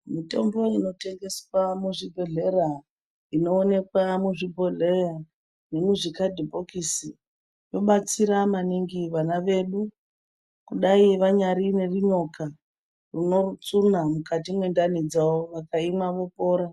Mitombo inotengeswa muzvibhedhlera inoonekwa muzvibhohleya nemuzvikadhibhokisi inobatsira maningi vana vedu kudai vanyari nerunyoka unotsunya mukati mwendani dzavo, vakaimwa vopora.